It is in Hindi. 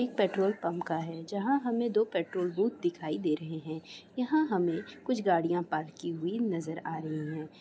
एक पेट्रोल पम्प का है जहां हमें दो पेट्रोल बूथ दिखाई दे रहे हैं| यहाँ हमें कुछ गड़ियां पार्क की हुई नजर आ रही हैं।